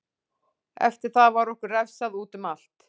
Eftir það var okkur refsað útum allt.